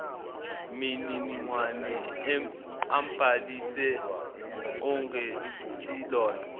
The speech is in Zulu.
mininingwane ambhalise ongesilona